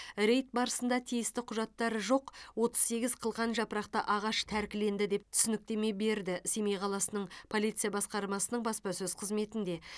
рейд барысында тиісті құжаттары жоқ отыз сегіз қылқан жапырақты ағаш тәркіленді деп түсініктеме берді семей қаласының полиция басқармасының баспасөз қызметінде